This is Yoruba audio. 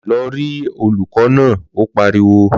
Lọ rí olùkọ́ náà! Ó pariwo.